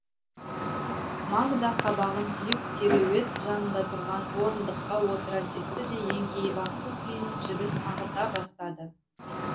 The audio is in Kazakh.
магда қабағын түйіп кереует жанында тұрған орындыққа отыра кетті де еңкейіп ақ туфлиінің жібін ағыта бастады